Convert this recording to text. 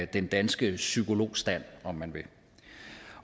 den danske psykologstand